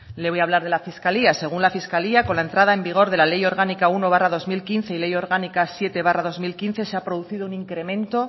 le voy a hablar de la fiscalía según la fiscalía con la entrada en vigor de la ley orgánica uno barra dos mil quince y ley orgánica siete barra dos mil quince se ha producido un incremento